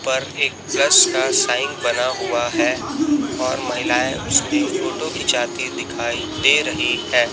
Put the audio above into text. पर एक प्लस का साइन बना हुआ है और महिलाएं उसकी फोटो खिंचाती दिखाई दे रही है।